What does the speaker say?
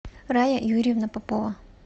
рая юрьевна попова